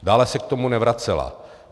Dále se k tomu nevracela.